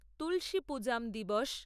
তুলসী পূজাম দিবস